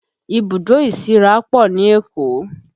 Ibùdó ìsíra pọ̀ ní Èkó